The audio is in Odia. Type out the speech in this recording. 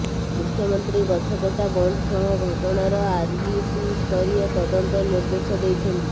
ମୁଖ୍ୟମନ୍ତ୍ରୀ ଗଛକଟା ବନ୍ଦ ସହ ଘଟଣାର ଆରଡିସିସ୍ତରୀୟ ତଦନ୍ତ ନିର୍ଦେଶ ଦେଇଛନ୍ତି